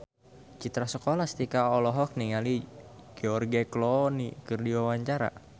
Citra Scholastika olohok ningali George Clooney keur diwawancara